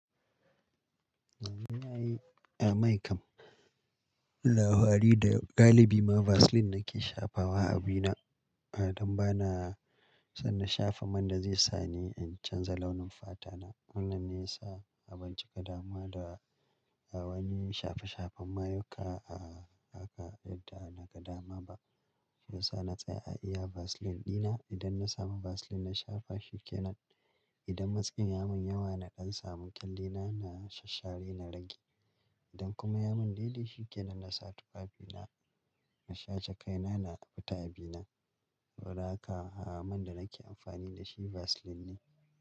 Ni na yi, a mai kam labari da galibi ma Vaseline nake shafa wa abina, ah don bana son na shafa man da zai sa ni in canza launin fatana. Wannan ne ya sa a ban cika damuwa da wani shafe-shafen mayuka, ah haka yadda naga dama ba. Shiyasa na tsaya a iya Vaseline dina. Idan na samu Vaseline na shafa shi kenan. Idan matskin ya mun yawa na ɗan samu kyalle na, na shassare na rage. Idan kuma ya mun daidai shi kenan na sa tufafina, na shaca kaina na fita abina. Haka man da nake amfani da shi Vaseline ne.